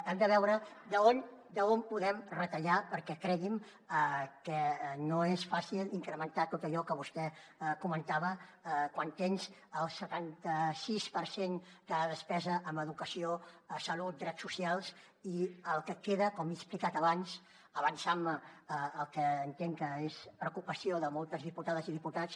hem de veure d’on podem retallar perquè cregui’m que no és fàcil incrementar tot allò que vostè comentava quan tens el setanta sis per cent de la despesa en educació salut drets socials i el que queda com he explicat abans avançant me al que entenc que és preocupació de moltes diputades i diputats